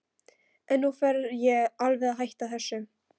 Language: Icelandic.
En nú fer ég alveg að hætta þessu.